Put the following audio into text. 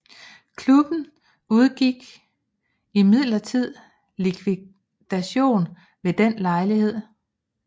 Klubben undgik imidlertid likvidation ved den lejlighed